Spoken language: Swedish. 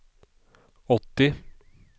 åttio